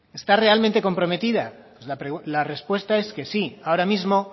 está realmente comprometida pues la respuesta es que sí ahora mismo